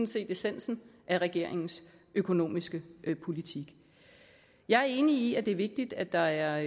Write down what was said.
set essensen af regeringens økonomiske politik jeg er enig i at det er vigtigt at der er